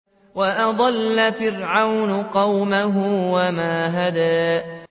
وَأَضَلَّ فِرْعَوْنُ قَوْمَهُ وَمَا هَدَىٰ